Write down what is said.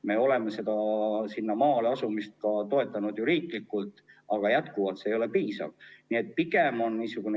Me oleme maale elama asumist ka riiklikult toetanud, aga see abi ei ole ikkagi piisav.